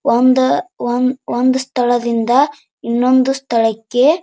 ಒಂದು ಒನ್ ಒಂದು ಸ್ಥಳದಿಂದ ಇನ್ನೊಂದು ಸ್ಥಳಕ್ಕೆ--